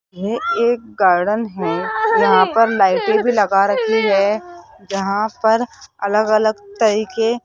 ये एक गार्डन है यहां पर लाइटे भी लगा रखी है जहां पर अलग अलग तरह के --